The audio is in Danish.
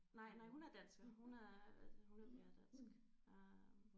Nej nej hun er dansker hun er altså hun er pæredansk øh